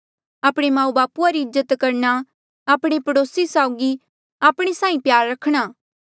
आपणे माऊबापू री इज्जत करणा आपणे पड़ोसी साऊगी आपणे साहीं प्यार रखा